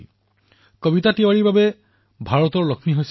তেওঁৰ কন্যাই বেতনবিহীনভাৱে পেইণ্টিং কৰাত তেওঁ গৌৰৱবোধ কৰে